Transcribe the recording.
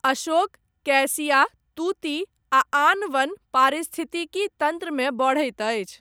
Ashok, cassia, तूति आ आन वन, पारिस्थितिकी तन्त्रमे बढ़ैत अछि।